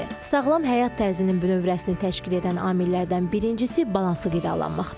Sağlam həyat tərzinin bünövrəsini təşkil edən amillərdən birincisi balanslı qidalanmaqdır.